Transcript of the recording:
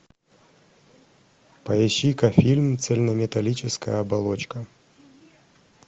поищи ка фильм цельнометаллическая оболочка